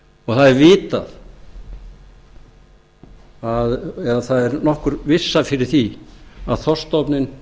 það er vitað eða það er nokkur vissa fyrir því að þorskstofninn